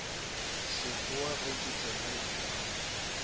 sekgowa ge ke tsenela kwano